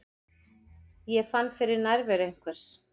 Ég fann fyrir nærveru einhvers.